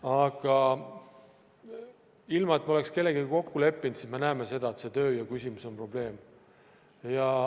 Aga ilma et me oleks kellegagi kokku leppinud, siis me näeme seda, et see tööjõu küsimus on probleem.